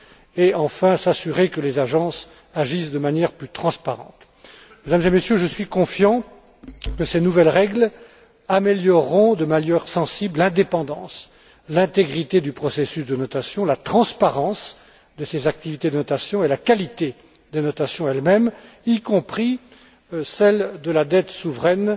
et, enfin, s'assurer que les agences agissent de manière plus transparente. Mesdames et Messieurs, je suis confiant que ces nouvelles règles amélioreront, de manière sensible, l'indépendance, l'intégrité du processus de notation, la transparence de ces activités de notation et la qualité des notations elles mêmes, y compris la notation de la dette souveraine